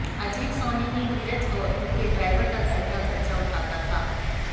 अजीत सोनी ही नीरज और उनके ड्राइवर का घर का खर्चा उठाता था